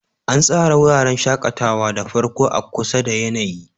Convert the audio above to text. An tsara wuraren shakatawa da farko a kusa da yanayi.